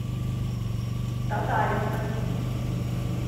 татаренко